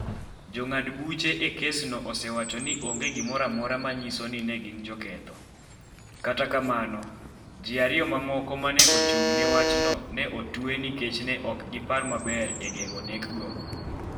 jongad buche e kesno osewacho ni onge gimoro amora ma nyiso ni ne gin joketho, kata kamano, ji ariyo mamoko ma ne ochung’ne wachno ne otwe nikech ne ok gipar maber e geng’o nekgo.